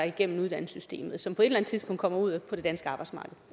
igennem uddannelsessystemet og som på et eller andet tidspunkt kommer ud på det danske arbejdsmarked